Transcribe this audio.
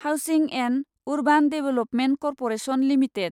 housing and urban development corporation limited